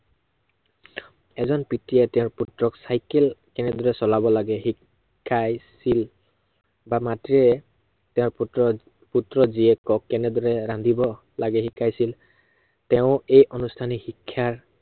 এজন পিতৃয়ে তেওঁৰ পুত্ৰক চাইকেল কেনেদৰে চলাব লাগে শিকাইছিল বা মাতৃয়ে, তেওঁৰ পুত্ৰ, পুত্ৰ জীয়েকক কেনেদৰে ৰান্ধিব লাগে শিকাইছিল তেওঁৰ এই আনুষ্ঠানিক শিক্ষা